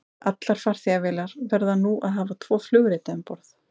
Allar farþegavélar verða nú að hafa tvo flugrita um borð.